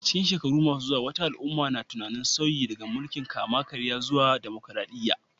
A cikin shekaru masu zuwa, wata al'umma na tunanin sauyi daga mulkin kama karya zuwa dimokuradiyya.